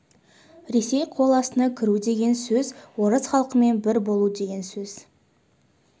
ресей қол астына кіру деген сөз орыс халқымен бір болу деген сөз